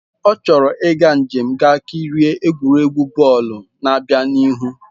Ọ chọrọ ịga njem ga kirie egwuregwu bọọlụ na-abịa n'ihu.